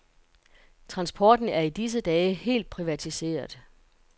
Transporten er i disse dage helt privatiseret.